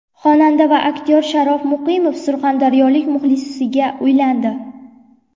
Xonanda va aktyor Sharof Muqimov surxondaryolik muxlisiga uylandi .